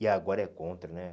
E agora é contra, né?